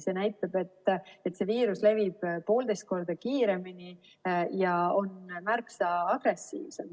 See näitab, et see viirus levib poolteist korda kiiremini ja on märksa agressiivsem.